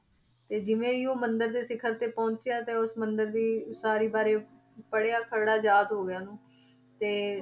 ਤੇ ਜਿਵੇਂ ਹੀ ਉਹ ਮੰਦਿਰ ਦੇ ਸਿਖ਼ਰ ਤੇ ਪਹੁੰਚਿਆ ਤੇ ਉਸ ਮੰਦਿਰ ਦੀ ਉਸਾਰੀ ਬਾਰੇ ਪੜ੍ਹਿਆ ਖ਼ਰੜਾ ਯਾਦ ਹੋ ਗਿਆ ਉਹਨੂੰ ਤੇ